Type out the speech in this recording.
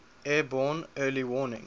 airborne early warning